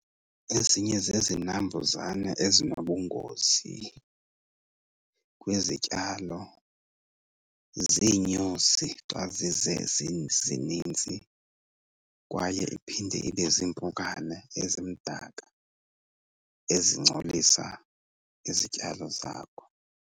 Ezinye zezinambuzane ezinobungozi kwizityalo ziinyosi xa zize zizininzi. Kwaye iphinde ibe ziimpukane ezimdaka ezingcolisa izityalo zakho.